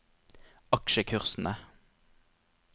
aksjekursene